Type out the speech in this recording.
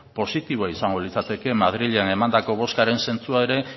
positiboa izango litzateke madrilen emandako bozkaren sentsua ere